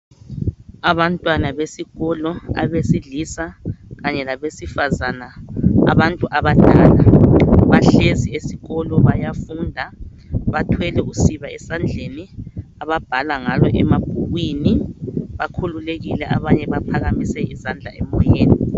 Abantwana besikolo abesifazana kanye labesilisa labantu abadala bahlezi esikolo bayafunda bathwele usiba ezandleni ababhala ngalo bakhululekile abanye baphakamisa izandla.